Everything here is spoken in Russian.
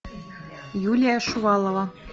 юлия шувалова